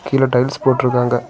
கீழ டைல்ஸ் போட்டு இருக்காங்க.